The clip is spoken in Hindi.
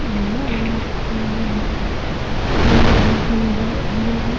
हुआ है ।